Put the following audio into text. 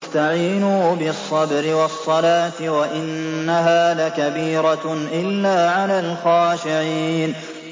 وَاسْتَعِينُوا بِالصَّبْرِ وَالصَّلَاةِ ۚ وَإِنَّهَا لَكَبِيرَةٌ إِلَّا عَلَى الْخَاشِعِينَ